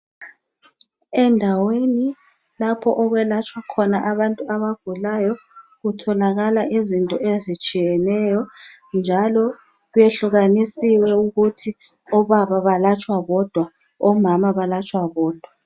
Endaweni lapho okwelatshwa khona abantu abagulayo kwehlukanisiwe ukuthi omama belatshwa bodwa labobaba ngokunjalo.